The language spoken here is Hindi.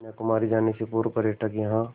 कन्याकुमारी जाने से पूर्व पर्यटक यहाँ